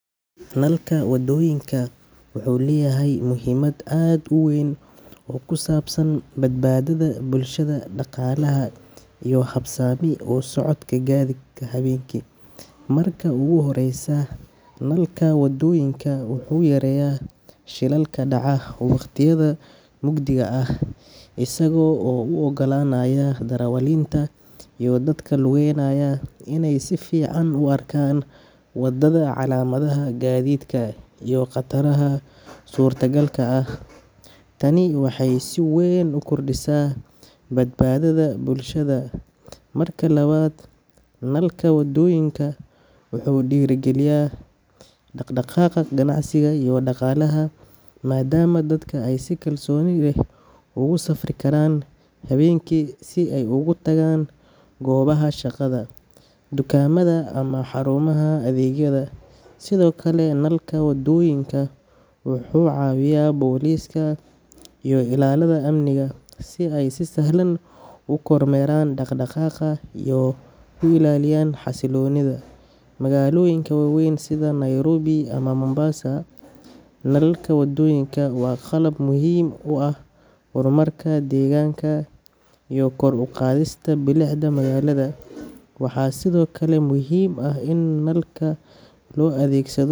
Nalka wadooyinka wuxuu leeyahay muhiimad aad u weyn oo ku saabsan badbaadada bulshada, dhaqaalaha, iyo habsami u socodka gaadiidka habeenkii. Marka ugu horreysa, nalka wadooyinka wuxuu yareeyaa shilalka dhaca waqtiyada mugdiga ah, isagoo u oggolaanaya darawaliinta iyo dadka lugeynaya inay si fiican u arkaan waddada, calaamadaha gaadiidka, iyo khataraha suurtagalka ah. Tani waxay si weyn u kordhisaa badbaadada bulshada. Marka labaad, nalka wadooyinka wuxuu dhiirrigeliyaa dhaqdhaqaaqa ganacsi iyo dhaqaalaha, maadaama dadka ay si kalsooni leh ugu safri karaan habeenkii si ay ugu tagaan goobaha shaqada, dukaamada, ama xarumaha adeegyada. Sidoo kale, nalka wadooyinka wuxuu caawiyaa booliska iyo ilaalada amniga si ay si sahlan u kormeeraan dhaq-dhaqaaqa iyo u ilaaliyaan xasilloonida. Magaalooyinka waaweyn sida Nairobi ama Mombasa, nalalka wadooyinka waa qalab muhiim u ah horumarka deegaanka iyo kor u qaadista bilicda magaalada. Waxaa sidoo kale muhiim ah in nalalkaas loo adeegsado.